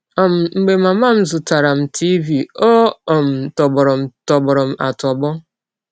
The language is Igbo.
“ um Mgbe mama m zụtaara m tiịvi, ọ um tọgbụrụ m tọgbụrụ m atọgbụ!